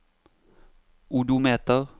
odometer